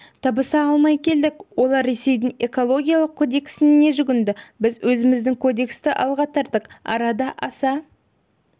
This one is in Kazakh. табыса алмай келдік олар ресейдің экологиялық кодексіне жүгінді біз өзіміздің кодексті алға тарттық арада аса